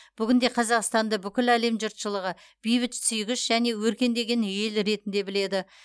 бүгінде қазақстанды бүкіл әлем жұртшылығы бейбітсүйгіш және өркендеген ел ретінде біледі